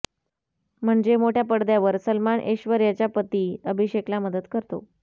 म्हणजे मोठ्या पडद्यावर सलमान ऐश्वर्याचा पती अभिषेकला मदत करतो